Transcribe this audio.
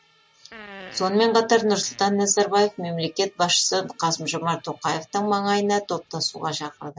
сонымен қатар нұрсұлтан назарбаев мемлекет басшысы қасым жомарт тоқаевтың маңайына топтасуға шақырды